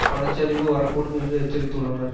பண சரிவு வரக்கூடும் என்றும் எச்சரித்துள்ளனர்